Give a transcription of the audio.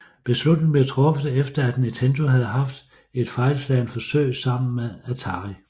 Beslutningen blev truffet efter at Nintendo havde haft et fejlslagent forsøg sammen med Atari